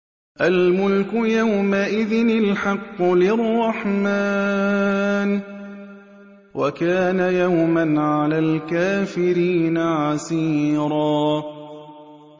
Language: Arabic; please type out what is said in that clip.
الْمُلْكُ يَوْمَئِذٍ الْحَقُّ لِلرَّحْمَٰنِ ۚ وَكَانَ يَوْمًا عَلَى الْكَافِرِينَ عَسِيرًا